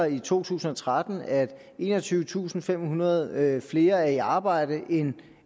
i to tusind og tretten er enogtyvetusinde og femhundrede flere der er i arbejde end